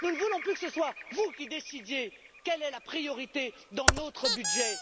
Nous ne voulons plus que ce soit vous qui décidiez quelle est la priorité dans notre budget.